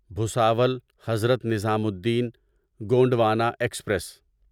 Bhusawal Hazrat Nizamuddin Gondwana express